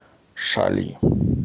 шали